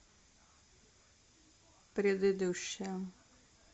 предыдущая